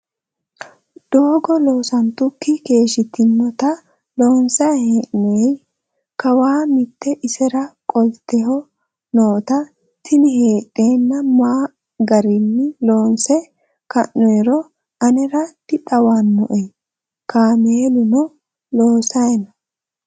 Doogo loosantukki keeshshitinota loonsayi hee'noyi. Kawaa mitte isera qoteho noota tini heedhena ma garii loonse ka'noyiiro anera dixawannoe. Kaameluno loosayi no.